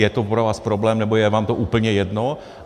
Je to pro vás problém, nebo je vám to úplně jedno?